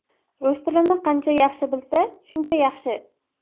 Rus tilini qancha yaxshi bilsa, shuncha yaxshi.